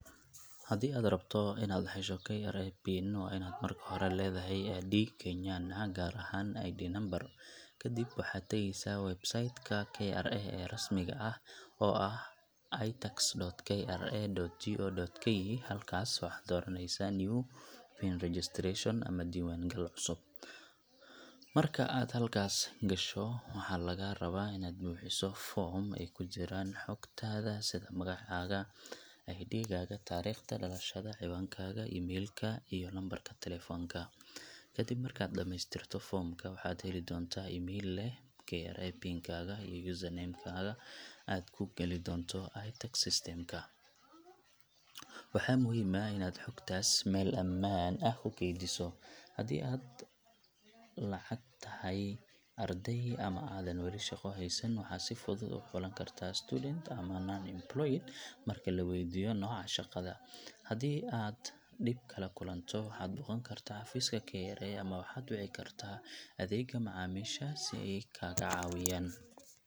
Haddii aad rabto inaad hesho KRA PIN, waa inaad marka hore leedahay ID Kenyan ah, gaar ahaan ID number. Kadib, waxaad tagaysaa website ka KRA ee rasmiga ah, oo ah itax.kra.go.ke. Halkaas waxaad dooraneysaa New PIN Registration ama Diiwaan gal cusub. Marka aad halkaas gasho, waxaa lagaa rabaa inaad buuxiso foom ay ku jiraan xogtaada sida magacaaga, ID gaaga, taariikhda dhalashada, ciwaankaaga email ka, iyo lambarka taleefanka. Kadib markaad dhamaystirto foomka, waxaad heli doontaa email leh KRA PIN kaaga iyo Username ka aad ku geli doonto iTax system ka. Waxaa muhiim ah inaad xogtaas meel amaan ah ku keydiso. Haddii aad la’eg tahay arday ama aadan wali shaqo haysan, waxaad si fudud u xulan kartaa Student ama Non-employed marka la weydiiyo nooca shaqadaada. Haddii aad dhib kala kulanto, waxaad booqan kartaa xafiiska KRA ama waxaad wici kartaa adeegga macaamiisha si ay kaaga caawiyaan.